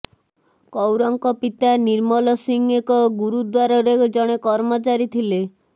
କୌରଙ୍କ ପିତା ନିର୍ମଲ ସିଂହ ଏକ ଗୁରୁଦ୍ୱାରରେ ଜଣେ କର୍ମଚାରୀ ଥିଲେ